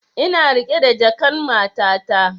Na riƙe jakan matata